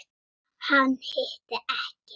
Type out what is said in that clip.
Hann hitti ekki.